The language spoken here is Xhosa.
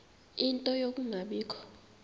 ie nto yokungabikho